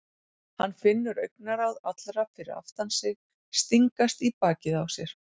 Hann finnur augnaráð allra fyrir aftan sig stingast í bakið á sér.